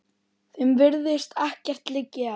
Þeim virðist ekkert liggja á.